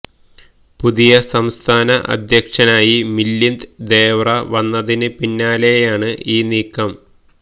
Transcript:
പുതിയ സംസ്ഥാന അധ്യക്ഷനായി മിലിന്ദ് ദേവ്റ വന്നതിന് പിന്നാലെയാണ് ഈ നീക്കം